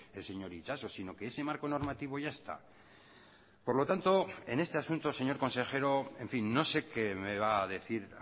el señor itxaso sino que ese marco normativo ya está por lo tanto en este asunto señor consejero en fin no sé qué me va a decir